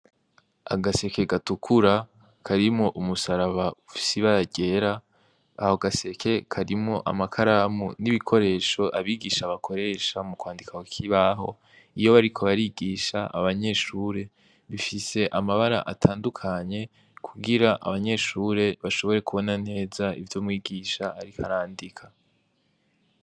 Agaseke gatukura karimo umusaraba sibagera aho gaseke karimo amakaramu n'ibikoresho abigisha bakoresha mu kwandikakibaho iyo bariko barigisha abanyeshure bifise amabara atandukanye kugira abanyeshure bashobore kubona neza ivyo mwigisha arikarandika.